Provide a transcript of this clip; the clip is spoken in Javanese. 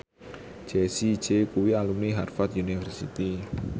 Jessie J kuwi alumni Harvard university